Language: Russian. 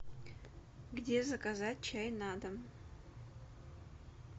где заказать чай на дом